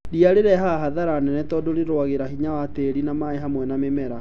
Ria rĩrehaga hathara nene tondũ rĩrũagĩra hinya wa tĩri na maĩĩ hamwe na mĩmera